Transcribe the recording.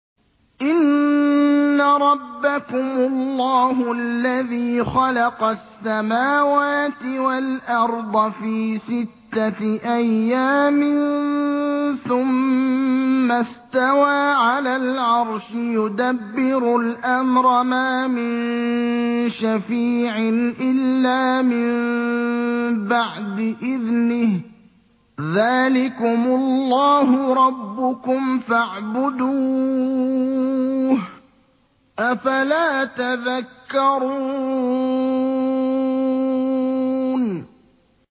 إِنَّ رَبَّكُمُ اللَّهُ الَّذِي خَلَقَ السَّمَاوَاتِ وَالْأَرْضَ فِي سِتَّةِ أَيَّامٍ ثُمَّ اسْتَوَىٰ عَلَى الْعَرْشِ ۖ يُدَبِّرُ الْأَمْرَ ۖ مَا مِن شَفِيعٍ إِلَّا مِن بَعْدِ إِذْنِهِ ۚ ذَٰلِكُمُ اللَّهُ رَبُّكُمْ فَاعْبُدُوهُ ۚ أَفَلَا تَذَكَّرُونَ